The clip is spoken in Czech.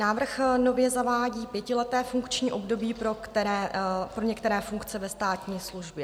Návrh nově zavádí pětileté funkční období pro některé funkce ve státní službě.